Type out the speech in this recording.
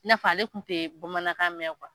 I n'a fɔ ale kun te bamanankan mɛn